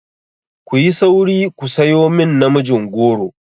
Ku yi sauri ku sayo min namijin goro!